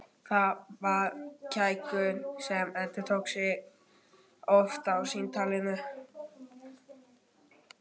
Það var kækur sem endurtók sig nokkuð oft í samtalinu.